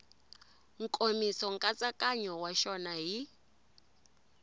nkomiso nkatsakanyo wa xona hi